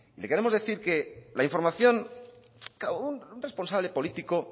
le queremos decir que la información un responsable político